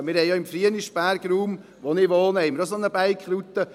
Wir haben im Raum Frienisberg, wo ich wohne, auch eine solche Bike-Route.